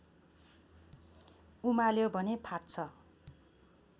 उमाल्यो भने फाट्छ